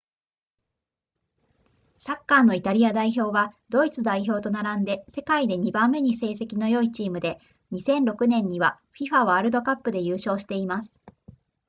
サッカーのイタリア代表はドイツ代表と並んで世界で2番目に成績の良いチームで2006年には fifa ワールドカップで優勝しています